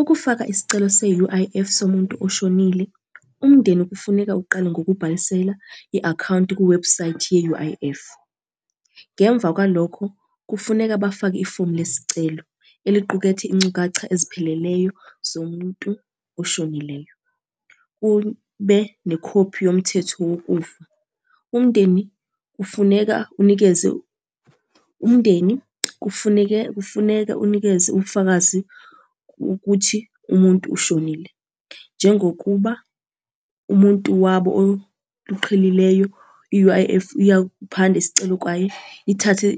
Ukufaka isicelo se-U_I_F somuntu oshonile, umndeni kufuneka uqale ngokubhalisela i-akhawunti kuwebhusayithi ye-U_I_F. Ngemva kwalokho, kufuneka bafake ifomu lesicelo, eliqukethe ingcukacha ezipheleleyo zomuntu oshonileyo. Kube nekhophi yomthetho wokufa. Umndeni kufuneka unikeze, umndeni kufuneke kufuneka unikeze ubufakazi ukuthi umuntu ushonile. Njengokuba umuntu wabo luqhelileyo i-U_I_F iyakuphanda isicelo kwayo, ithathe